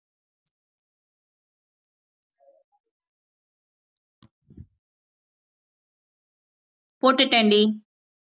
போட்டுட்டேன்டி